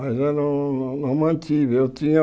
Mas eu não não mantive eu tinha.